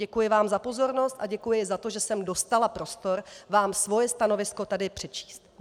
Děkuji vám za pozornost a děkuji za to, že jsem dostala prostor vám svoje stanovisko tady přečíst.